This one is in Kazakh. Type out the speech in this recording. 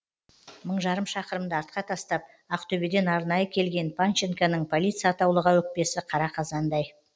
мың жарым шақырымды артқа тастап ақтөбеден арнайы келген панченконың полиция атаулыға өкпесі қара қазандай